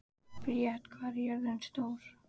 Briet, hvað er jörðin stór?